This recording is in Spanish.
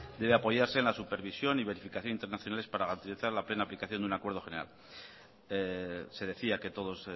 debe apoyarse en la supervisión y verificación internacionales para garantizar la plena aplicación de un acuerdo general se decía que todos